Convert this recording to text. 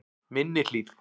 Minni Hlíð